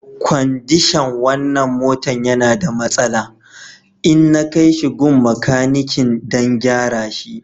Kwandishan wanan motan ya na da masala, inna kai shi gun makanikin dan gyara shi.